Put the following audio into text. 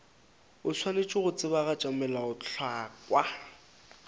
o swanetše go tsebagatša melaotlhakwa